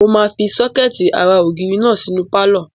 Mo máa fi sọ́kẹ̀tì ara ògiri náà sínú pálọ̀